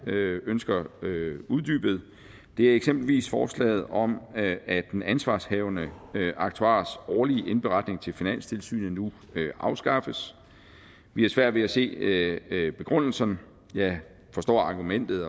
ønsker uddybet er eksempelvis forslaget om at den ansvarshavende aktuars årlige indberetning til finanstilsynet nu afskaffes vi har svært ved at se begrundelsen og forstå argumentet